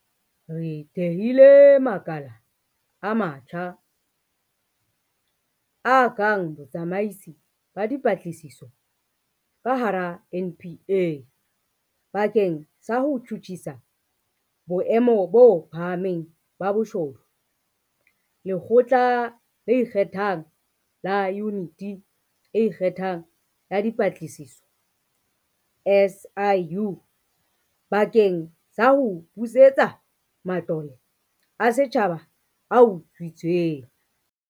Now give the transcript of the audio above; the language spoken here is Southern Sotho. Re thehile makala a matjha, a kang Botsamaisi ba Dipatlisiso ka hara NPA bakeng sa ho tjhutjhisa boemo bo phahameng ba bobodu, Lekgotla le Ikgethang la Yuniti e Ikgethang ya Dipatlisiso, SIU, bakeng sa ho busetsa matlole a setjhaba a utswitsweng.